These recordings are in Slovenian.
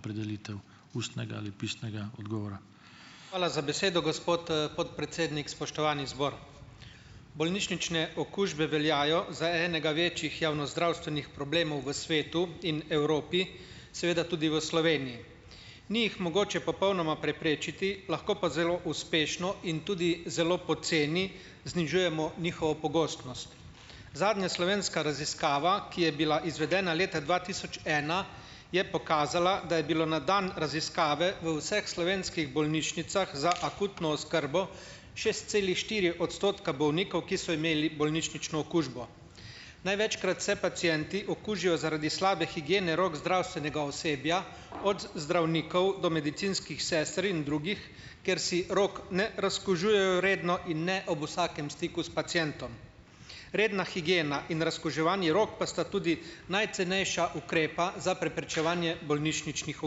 Opredelitev ustnega ali pisnega odgovora. Hvala za besedo, gospod, podpredsednik, spoštovani zbor! Bolnišnične okužbe veljajo za enega večjih javnozdravstvenih problemov v svetu in Evropi, seveda tudi v Sloveniji. Ni jih mogoče popolnoma preprečiti, lahko pa zelo uspešno in tudi zelo poceni znižujemo njihovo pogostnost. Zadnja slovenska raziskava, ki je bila izvedena leta dva tisoč ena, je pokazala, da je bilo na dan raziskave v vseh slovenskih bolnišnicah za akutno oskrbo šest celih štiri odstotka bolnikov, ki so imeli bolnišnično okužbo. Največkrat se pacienti okužijo zaradi slabe higiene rok zdravstvenega osebja, od zdravnikov do medicinskih sester in drugih. Ker si rok ne razkužujejo redno in ne ob vsakem stiku s pacientom. Redna higiena in razkuževanje rok pa sta tudi najcenejša ukrepa za preprečevanje bolnišničnih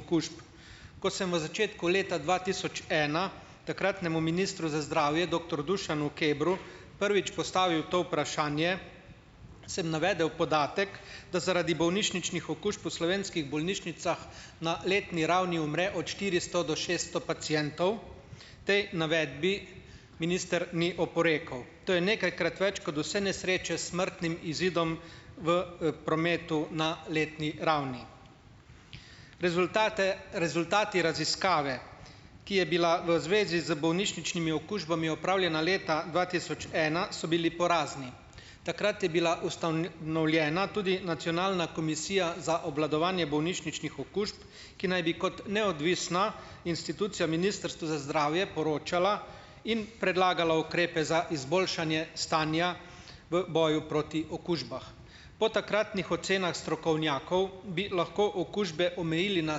okužb. Ko sem v začetku leta dva tisoč ena takratnemu ministru za zdravje doktor Dušanu Kebru prvič postavil to vprašanje, sem navedel podatek, da zaradi bolnišničnih okužb v slovenskih bolnišnicah na letni ravni umre od štiristo do šesto pacientov. Tej navedbi minister ni oporekal. To je nekajkrat več kot vse nesreče s smrtnim izidom v, prometu na letni ravni. Rezultate rezultati raziskave, ki je bila v zvezi z bolnišničnimi okužbami opravljena leta dva tisoč ena, so bili porazni. Takrat je bila tudi nacionalna komisija za obvladovanje bolnišničnih okužb, ki naj bi kot neodvisna institucija Ministrstvu za zdravje poročala in predlagala ukrepe za izboljšanje stanja v boju proti okužbah. Po takratnih ocenah strokovnjakov bi lahko okužbe omejili na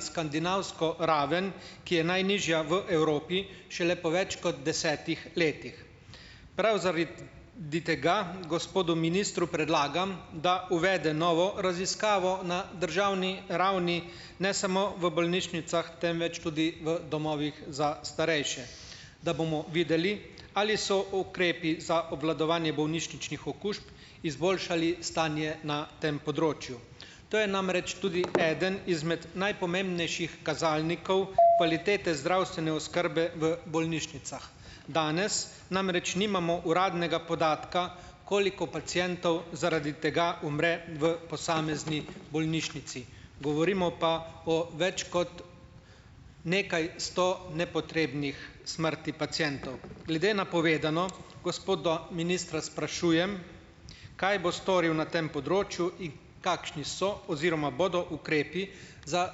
skandinavsko raven, ki je najnižja v Evropi šele po več kot desetih letih. Prav zaradi tega gospodu ministru predlagam, da uvede novo raziskavo na državni ravni, ne samo v bolnišnicah, temveč tudi v domovih za starejše, da bomo videli, ali so ukrepi za obvladovanje bolnišničnih okužb izboljšali stanje na tem področju. To je namreč tudi eden izmed najpomembnejših kazalnikov kvalitete zdravstvene oskrbe v bolnišnicah. Danes namreč nimamo uradnega podatka, koliko pacientov zaradi tega umre v posamezni bolnišnici. Govorimo pa o več kot nekaj sto nepotrebnih smrti pacientov. Glede na povedano gospoda ministra sprašujem, kaj bo storil na tem področju, kakšni so oziroma bodo ukrepi za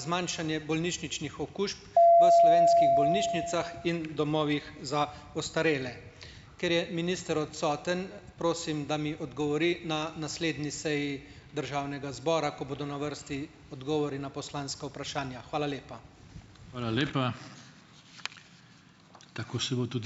zmanjšanje bolnišničnih okužb v slovenskih bolnišnicah in domovih za ostarele. Ker je minister odsoten, prosim, da mi odgovori na naslednji seji državnega zbora, ko bodo na vrsti odgovori na poslanska vprašanja. Hvala lepa. Hvala lepa. Tako se bo tudi ...